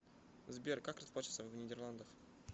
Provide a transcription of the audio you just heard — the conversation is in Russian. сбер как расплачиваться в нидерландах